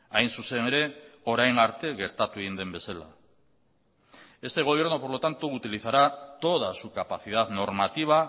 hain zuzen ere orain arte gertatu egin den bezala este gobierno por lo tanto utilizará toda su capacidad normativa